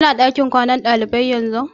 Ki na ɗakin kwanan ɗalibai yanzu?